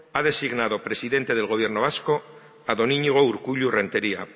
ha designado presidente del gobierno vasco a don iñigo urkullu renteria